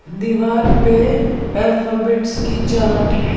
दीवार पे अल्फाबेट्स की चार्ट है।